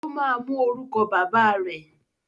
Ó ma mú orúkọ bàbá rẹ̀.